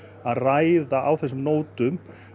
að ræða á þessum nótum